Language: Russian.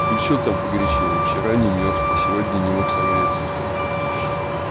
включил там погорячей вчера не мёрз а сегодня не мог согреться